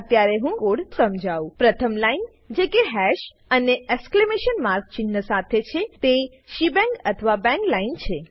અત્યારે હું કોડ સમજાઉ પ્રથમ લાઈન જે કે હાશ અને એક્સક્લેમેશન ચિન્હ સાથે છેતે શેબાંગ અથવા કે બાંગ લાઈન છે